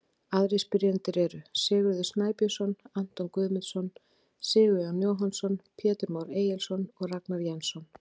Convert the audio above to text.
Aðrir spyrjendur eru: Sigurður Snæbjörnsson, Anton Guðmundsson, Sigurjón Jóhannsson, Pétur Már Egilsson og Ragnar Jensson.